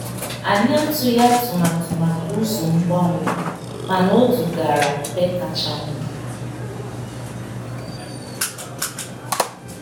Anyị atụghị atụmatụ maka ụzọ mgbanwe, mana ọ dugara na ebe kacha mma.